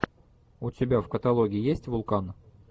у тебя в каталоге есть вулкан